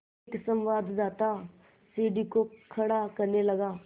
एक संवाददाता सीढ़ी को खड़ा करने लगा